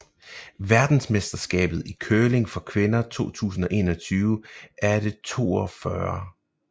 Verdensmesterskabet i curling for kvinder 2021 er det 42